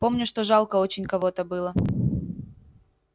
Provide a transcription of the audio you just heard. помню что жалко очень кого-то было